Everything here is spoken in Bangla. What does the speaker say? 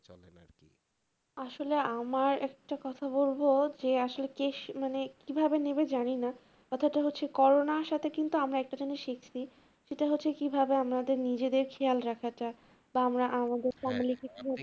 আসলে আমার একটা কথা বলবো যে আসলে কেশ~ মানে কিভাবে নেবে জানিনা, কথা টা হচ্ছে corona আসতে কিন্তু আমরা একটা জিনিস শিখছি সেটা হচ্ছে কিভাবে আমাদের নিজেদের খেয়াল রাখা টা তো আমরা আমাদের